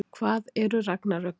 hvað eru ragnarök